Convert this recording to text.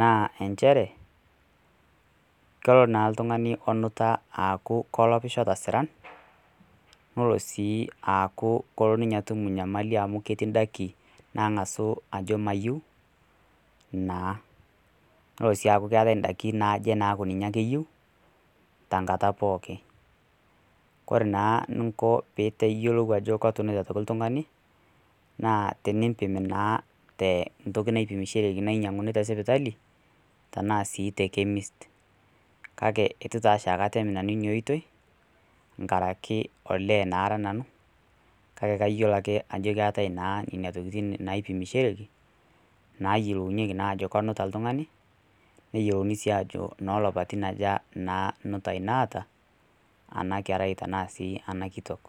naa inchere kelo oltung'ani onuta kelopisho tosira nelo sii aku ketum enyamali amuu ketii daikin nang'asu ajo mayeu naa. Nelo si akuu ketai idaikin naaje naaku ninche ake eyiou tankata pookin. Koree naa eninko piyiolou ajo kutunute oltung'ani naa tenimpi naa tentoki naipimishoreki nadumuni tesipaitali tenaa sii te Kaidim chemist. Kake eitu si akata atem ina oitoi nkarakii olee naa ara nanu. Kake kayiolo ake ajo ketae naa nena tokitin naipimishoreki nayiolounyeki naa ajo kenuta oltung'ani neyiolouni sii ajo nolapatin aje naa nutai naata ena kerai ashu sii ena kitok.